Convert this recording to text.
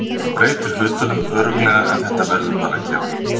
Það breytir hlutunum örugglega en þetta verður bara að gera.